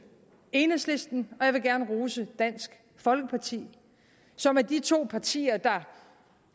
enhedslisten og jeg vil gerne rose dansk folkeparti som er de to partier der